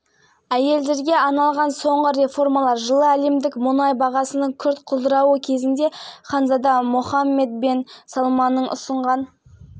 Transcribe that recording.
бағдарламасының ажырамас бөлігі болып табылады стратегияның негізгі мақсаттарының бірі ұлттық экономиканы әртараптандыру және шикізаттық емес